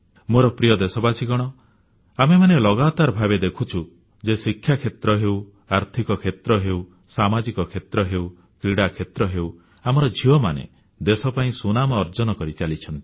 ମୋର ପ୍ରିୟ ଦେଶବାସୀଗଣ ଆମେମାନେ ଲଗାତାର ଭାବେ ଦେଖୁଛୁ ଯେ ଶିକ୍ଷା କ୍ଷେତ୍ର ହେଉ ଆର୍ଥିକ କ୍ଷେତ୍ର ହେଉ ସାମାଜିକ କ୍ଷେତ୍ର ହେଉ କ୍ରୀଡ଼ାକ୍ଷେତ୍ର ହେଉ ଆମର ଝିଅମାନେ ଦେଶ ପାଇଁ ସୁନାମ ଅର୍ଜନ କରି ଚାଲିଛନ୍ତି